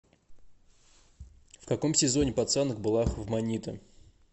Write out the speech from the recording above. в каком сезоне пацанок была хофманита